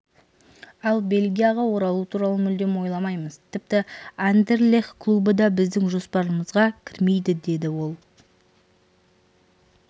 ал бельгияға оралу туралы мүлдем ойламаймыз тіпті андерлех клубы да біздің жоспарымызға кірмейді деді ол